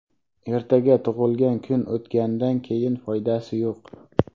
Ertaga tug‘ilgan kun o‘tgandan keyin foydasi yo‘q.